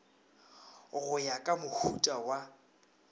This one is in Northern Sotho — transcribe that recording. go ya ka mohuta wa